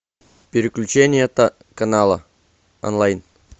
переключение канала онлайн